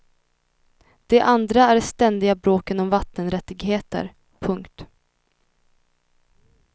Det andra är de ständiga bråken om vattenrättigheter. punkt